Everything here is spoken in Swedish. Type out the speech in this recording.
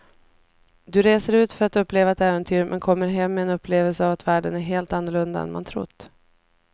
Du reser ut för att uppleva ett äventyr men kommer hem med en upplevelse av att världen är helt annorlunda än man trott.